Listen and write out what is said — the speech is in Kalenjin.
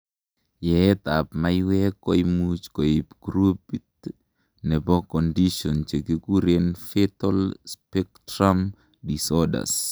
yeet ab maiywek koimuch koib groupit nebo conditions chekikuren fetal spectrum disorders